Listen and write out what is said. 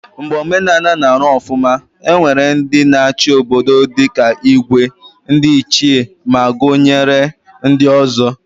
Mgbe omenala na Aru ofuma, e nwere ndi na achi obodo dika Igwe, ndi ichie ma gunyere ndi ozo